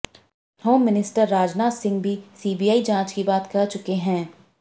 home minister Rajnath Singh भी CBI जांच की बात कह चुके हैं